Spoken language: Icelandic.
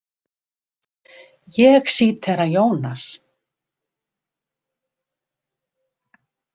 Ég sítera Jónas.